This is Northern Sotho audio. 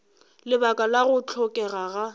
lebaka la go hlokega ga